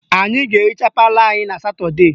Anyị ga-ehicha palọ anyị na Satọdee